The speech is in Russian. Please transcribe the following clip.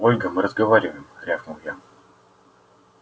ольга мы разговариваем рявкнул я